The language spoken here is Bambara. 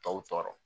Tɔw tɔɔrɔ